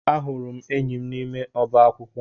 Ahụrụ m enyi m n'ime ọba akwụkwọ